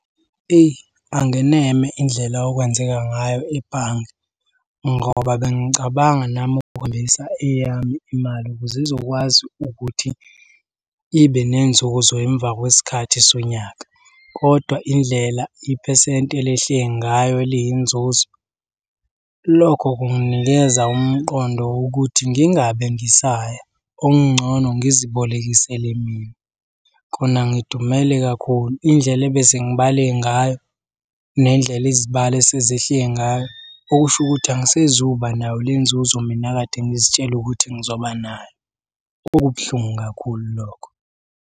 Eyi angeneme indlela okwenzeka ngayo ebhange ngoba bengicabanga nami eyami imali, ukuze ngizokwazi ukuthi ibe nenzuzo emva kwesikhathi sonyaka, kodwa indlela iphesenti elehle ngayo eliyinzuzo. Lokho kunginikeza umqondo ukuthi ngingabe ngisaya, okungcono ngizibolekisele mina. Kona ngidumele kakhulu, indlela ebese ngibale ngayo nendlela izibalo esezehle ngayo, okusho ukuthi angisezukuba nayo le nzuzo mina ekade ngizitshela ukuthi ngizoba nayo. Kubuhlungu kakhulu lokho.